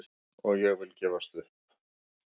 Og ég vil gefst upp!